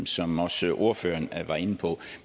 som også ordføreren var inde på